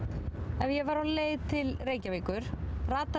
ef ég væri á leið til Reykjavíkur rataði